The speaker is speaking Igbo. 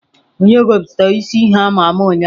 Onye gosiputara isi ihe ama ama ụnyahụ?